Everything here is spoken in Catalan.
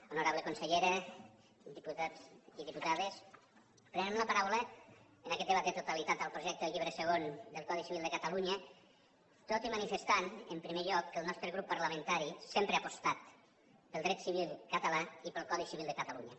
honorable consellera diputats i diputades prenem la paraula en aquest debat de totalitat del projecte del llibre segon de codi civil de catalunya tot i manifestant en primer lloc que el nostre grup parlamentari sempre ha apostat pel dret civil català i pel codi civil de catalunya